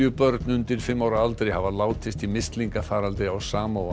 börn undir fimm ára aldri hafa látist í mislingafaraldri á